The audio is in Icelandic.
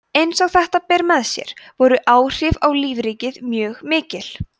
eins og þetta ber með sér voru áhrif á lífríkið mjög mikil